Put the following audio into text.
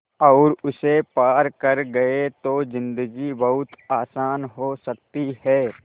और उसे पार कर गए तो ज़िन्दगी बहुत आसान हो सकती है